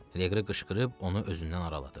Leqri qışqırıb onu özündən araladı.